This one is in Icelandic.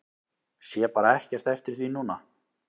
Sé bara ekkert eftir því núna.